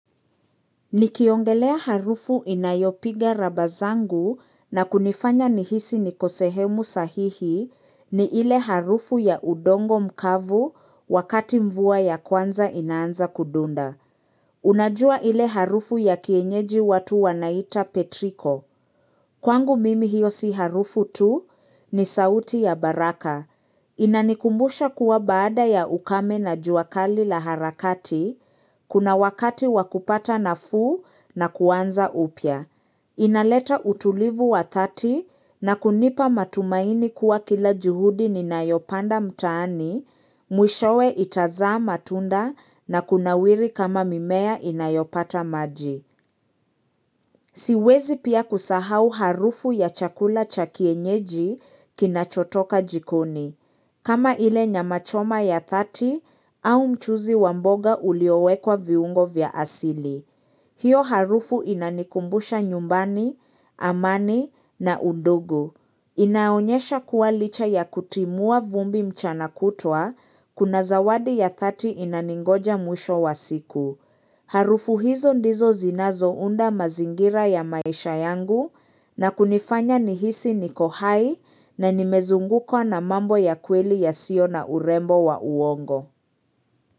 Nikiongelea harufu inayopiga raba zangu na kunifanya nihisi niko sehemu sahihi ni ile harufu ya udongo mkavu wakati mvua ya kwanza inaanza kudunda. Unajua ile harufu ya kienyeji watu wanaita Petrico. Kwangu mimi hiyo si harufu tu ni sauti ya baraka. Inanikumbusha kuwa baada ya ukame na jua kali la harakati, kuna wakati wa kupata nafuu na kuanza upya. Inaleta utulivu wa thati na kunipa matumaini kuwa kila juhudi ninayopanda mtaani, mwishowe itazaa matunda na kunawiri kama mimea inayopata maji. Siwezi pia kusahau harufu ya chakula cha kienyeji kinachotoka jikoni. Kama ile nyama choma ya thati au mchuzi wa mboga uliowekwa viungo vya asili. Hiyo harufu inanikumbusha nyumbani, amani na undogu. Inaonyesha kuwa licha ya kutimua vumbi mchana kutwa kuna zawadi ya thati inaningoja mwisho wa siku. Harufu hizo ndizo zinazounda mazingira ya maisha yangu na kunifanya nihisi niko hai na nimezungukwa na mambo ya kweli yasio na urembo wa uongo.